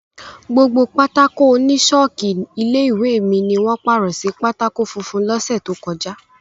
Gbogbo pátákó oní ṣọ́ọ̀kì ilé-ìwé mi ni wọ́n pàrọ̀ sí pátákó funfun lọ́sẹ̀ tó kọjá.